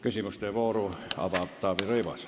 Küsimuste vooru avab Taavi Rõivas.